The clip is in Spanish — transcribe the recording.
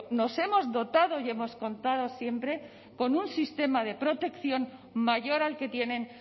nos hemos dotado y hemos contado siempre con un sistema de protección mayor al que tienen